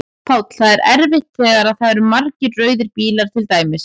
Páll: Það er erfitt þegar að það eru margir rauðir bílar til dæmis?